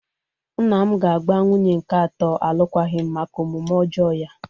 Nna m ga-agba nwunye nke atọ alụkwaghịm maka omume ọjọọ ya.